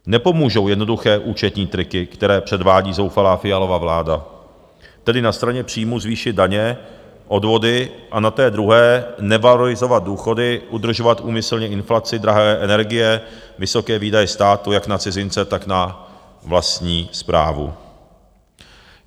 Nepomůžou jednoduché účetní triky, které předvádí zoufalá Fialova vláda, tedy na straně příjmů zvýšit daně, odvody, a na té druhé nevalorizovat důchody, udržovat úmyslně inflaci, drahé energie, vysoké výdaje státu jak na cizince, tak na vlastní správu.